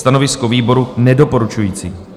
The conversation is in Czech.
Stanovisko výboru - nedoporučující.